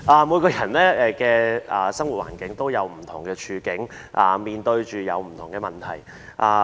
每個人生活環境都不同，面對不同的問題。